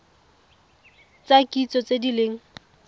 tsa kitso tse di leng